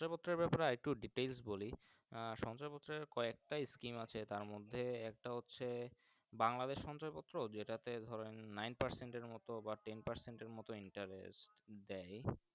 Details বলি আহ সঞ্চয় পত্র ক এক একটা Scheme আছে তার মর্ধে একটা হচ্ছে বাংলাদেশ সঞ্চয় পত্র যেটা তে ধরেন Nine percent এর মতো বা Tenparcent এর মতো Interest দেয়